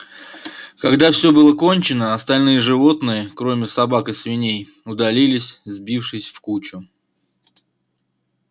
когда все было кончено остальные животные кроме собак и свиней удалились сбившись в кучу